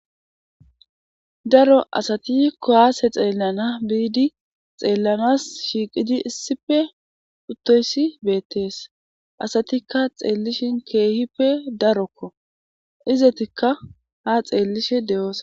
Daro asati kuwase xelanawu bidi xelanasi shiqidi issippe utidayisi betees asatika betishin kehippe daroko izatika ha xelishin de'osona